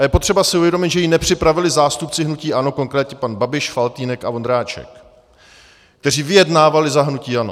A je potřeba si uvědomit, že ji nepřipravili zástupci hnutí ANO, konkrétně pan Babiš, Faltýnek a Vondráček, kteří vyjednávali za hnutí ANO.